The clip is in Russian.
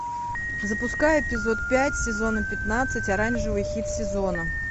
запускай эпизод пять сезона пятнадцать оранжевый хит сезона